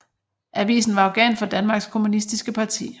Avisen var organ for Danmarks Kommunistiske Parti